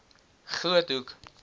groothoek